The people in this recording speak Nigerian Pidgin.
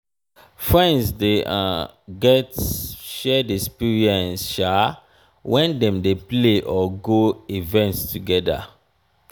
friends de get um shared experience when dem de play or go events together